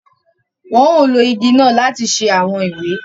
Wọn ò ló ìgi náà láti ṣe awọn ìwé